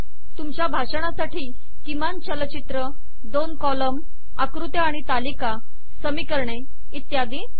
तुमच्या भाषणासाठी किमान चलचित्र दोन कॉलम आकृत्या आणि तालिका समीकरणे शब्दशः इत्यादी